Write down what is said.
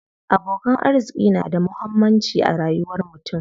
Abokan arziƙi na da muhammanci a rayuwar mutum.